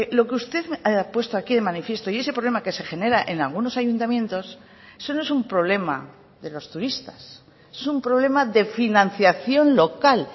lo que usted ha puesto aquí de manifiesto y ese problema que se genera en algunos ayuntamientos eso no es un problema de los turistas es un problema de financiación local